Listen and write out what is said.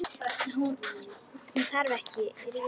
Hún þarf ekki rýting.